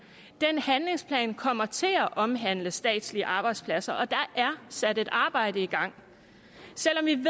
den handlingsplan kommer til at omhandle statslige arbejdspladser og der er sat et arbejde i gang selv